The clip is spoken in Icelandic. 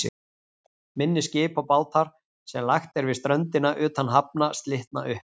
Minni skip og bátar, sem lagt er við ströndina utan hafna, slitna upp.